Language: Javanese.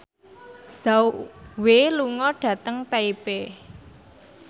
Zhao Wei lunga dhateng Taipei